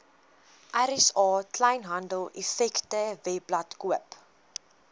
rsa kleinhandeleffektewebblad koop